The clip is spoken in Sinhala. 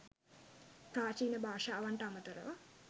ප්‍රාචීන භාෂාවන්ට අමතරව